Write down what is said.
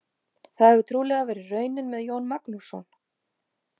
Það hefur trúlega verið raunin með Jón Magnússon.